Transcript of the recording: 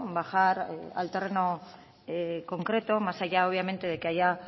bajar al terreno concreto más allá obviamente de que haya